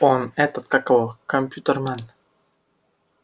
он этот как его компьютермен